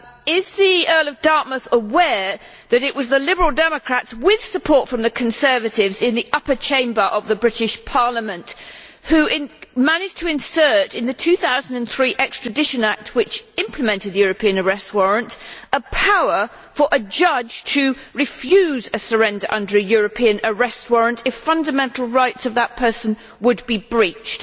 Is the Earl of Dartmouth aware that it was the Liberal Democrats, with support from the Conservatives in the Upper Chamber of the British Parliament, who managed to insert in the 2003 Extradition Act which implemented the European Arrest Warrant a power for a judge to refuse a surrender under a European Arrest Warrant if fundamental rights of that person would be breached.